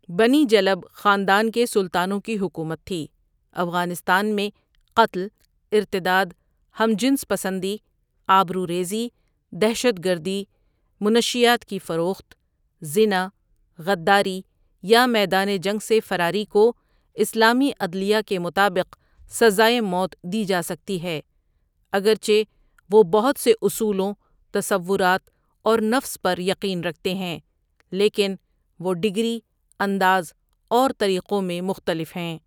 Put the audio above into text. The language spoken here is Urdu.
بنی جلب خاندان کے سلطانوں کی حکومت تھی افغانستان میں قتل، ارتداد، ہم جنس پسندی، آبروریزی، دہشت گردی، منشیات کی فروخت، زنا، غداری یا میدان جنگ سے فراری کو اسلامی عدلیہ کے مطابق سزائے موت دی جاسکتی ہے اگرچہ وہ بہت سے اصولوں، تصورات، اور نفس پر یقین رکھتے ہیں، لیکن وہ ڈگری، انداز اور طریقوں میں مختلف ہیں۔